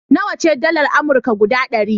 Nawa ce dalar Amurka guda ɗari?